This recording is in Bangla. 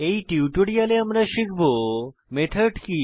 এই টিউটোরিয়ালে আমরা শিখব মেথড কি